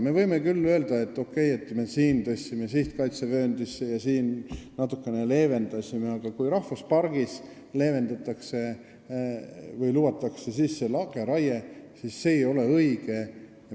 Me võime küll öelda, et me siin tõstsime sihtkaitsevööndisse ja siin natuke leevendasime, aga kui rahvuspargis lubatakse lageraiet, siis see ei ole õige.